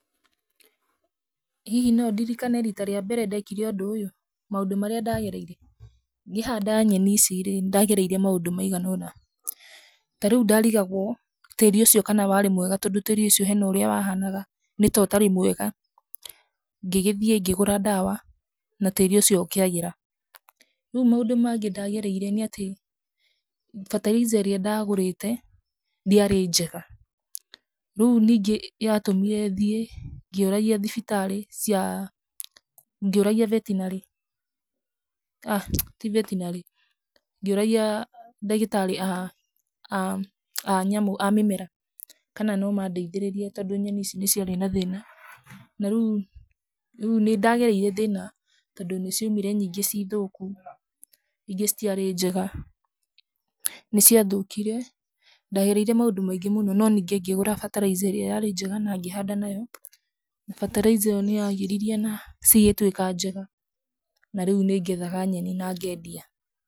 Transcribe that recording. Hihi no ndirikane rita rĩa mbere ndekire ũndũ ũyũ? Maũndũ maria ndagereire: Ngĩhanda nyeni ici rĩ, ndagereire maũndũ maigana ũna. Ta rĩu ndarigagwo tĩri ũcio kana warĩ mwega tondũ tĩri ucio hena ũrĩa wahanaga; nĩ ta ũtarĩ mwega. Ngĩgĩthiĩ ngĩgũra ndawa na tĩri ũcio ũkĩagĩra. Rĩu maũndũ mangĩ ndagereire nĩ atĩ fertilizer ĩrĩa ndagũrĩte ndĩarĩ njega. Rĩu ningĩ yatũmire thiĩ ngĩũragia thibitari cia, ngĩũragia vetinarĩ ah ti vetinarĩ, ngĩũragia ndagĩtarĩ a mĩmera kana no mandeithĩrĩrie tondũ nyeni ici nĩ ciarĩ na thĩna. Na rĩu nĩndagereire thĩna tondũ nĩ ciaumire nyingĩ ciĩ thũku, ingĩ citiarĩ njega niciathũkire. Ndagereire maũndũ maingĩ mũno no ningĩ ngĩgũra fertilizer ĩrĩa yarĩ njega na ngĩhanda nayo. Fertilizer ĩyo nĩ yagĩririe na cigĩtwĩka njega. Na rĩu nĩ ngethaga nyeni na ngendia.